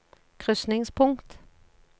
krysningspunkt